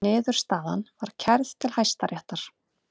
Niðurstaðan var kærð til Hæstaréttar